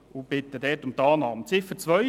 Ich bitte um die Annahme von Ziffer 1.